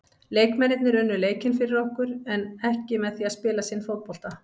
Leikmennirnir unnu leikinn fyrir okkur en ekki með því að spila sinn fótbolta.